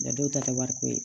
Nka dɔw ta tɛ wari ko ye